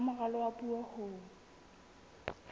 sa moralo wa puo ho